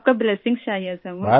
आपका blessings sir सर मुझे